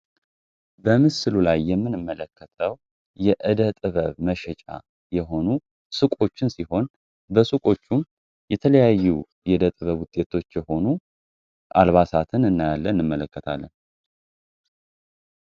በምስሉ ላይ የምንመለከተው የእደ ጥበብ ስራ መሸጫ ሱቆችን ሲሆን በሱቆችም የተለያዩ የእደጥበብ ውጤቶች የሆኑ አልባሳትን እናያለን ፣እንመለከታለን።